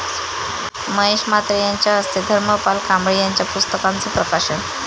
महेश म्हात्रे यांच्या हस्ते धर्मपाल कांबळे यांच्या पुस्तकांचं प्रकाशन